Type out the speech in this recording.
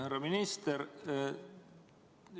Härra minister!